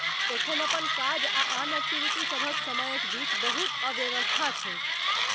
एखन अपन काज आ आन एक्टिविटी सभक समयक बीच बहुत अवव्यवस्था छैक।